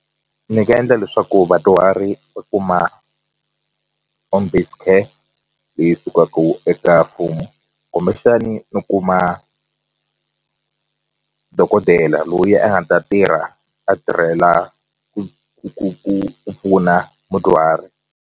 Ni nga endla leswaku vadyuhari va kuma home based care leyi sukaku eka mfumo kumbexani ni kuma dokodela loyi a nga ta tirha a tirhela ku ku ku ku ku pfuna mudyuhari.